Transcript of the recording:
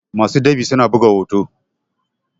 masu ɗab'i suna buga hoto